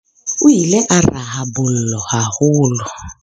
o ile a raha bolo haholo